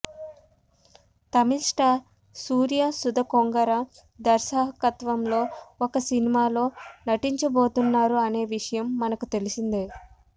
Tamil star Suriya Sudha Kongara దర్శహకత్వం లో ఒక సినిమా లో నటించబోతున్నారు అనే విషయం మనకు తెలిసిందే